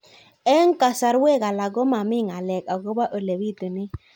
Eng' kasarwek alak ko mami ng'alek akopo ole pitunee